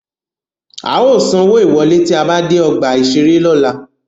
A ó sanwó ìwọ́lé tí a bá dé ọgbà-ìṣeré lọ́la